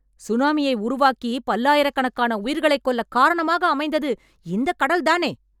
சுனாமியை உருவாக்கி பல்லாயிரக்கணக்கான உயிர்களை கொல்ல காரணமாக அமைந்தது இந்த கடல் தானே